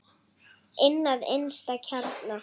Inn að innsta kjarna.